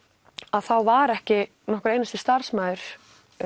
þá var ekki nokkur einasti starfsmaður